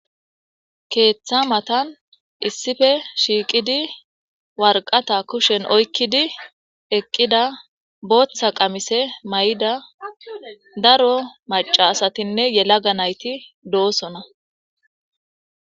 Ketha mattani issipe shiqidi wariqata kusheni oyikidi eqida botha qamisse mayida daro macca assatine yalaga nayiti dossona.